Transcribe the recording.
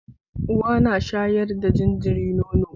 Uwa na sharya da jariri nono